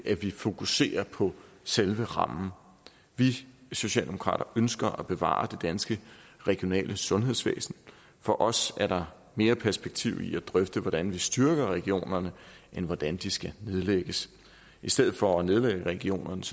at vi fokuserer på selve rammen vi socialdemokrater ønsker at bevare det danske regionale sundhedsvæsen for os er der mere perspektiv i at drøfte hvordan vi styrker regionerne end hvordan de skal nedlægges i stedet for at nedlægge regionerne